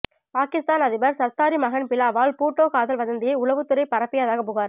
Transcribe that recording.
பாகிஸ்தான் அதிபர் சர்தாரி மகன் பிலாவல் பூட்டோ காதல் வதந்தியை உளவு துறை பரப்பியதாக புகார்